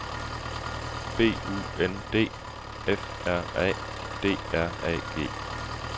B U N D F R A D R A G